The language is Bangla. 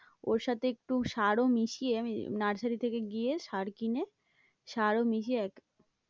ওর সাথে একটু সারও মিশিয়ে আমি নার্সারি থেকে গিয়ে সার কিনে সারও মিশিয়ে